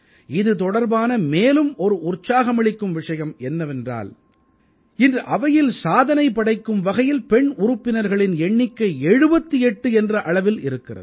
இது தொடர்பான மேலும் ஒரு உற்சாகமளிக்கும் விஷயம் என்னவென்றால் இன்று அவையில் சாதனை படைக்கும் வகையில் பெண் உறுப்பினர்களின் எண்ணிக்கை 78 என்ற அளவில் இருக்கிறது